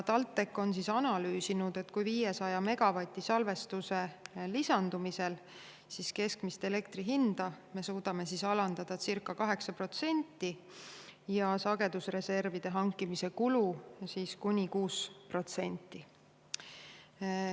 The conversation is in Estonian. TalTech on analüüsinud, et 500 megavati salvestuse lisandumise korral me suudame keskmist elektri hinda alandada circa 8% ja sagedusreservide hankimise kulu kuni 6%.